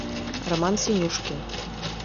роман синюшкин